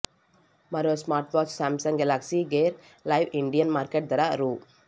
మరో smartwatch Samsung Galaxy Gear Live Indian market ధర రూ